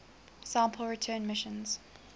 sample return missions